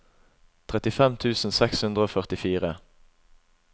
trettifem tusen seks hundre og førtifire